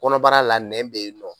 Kɔnɔbara la nɛn bɛ yen nɔ